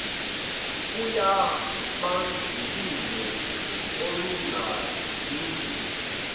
yobandlululo olunga lungile